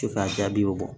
Se ka jaabiw bɔ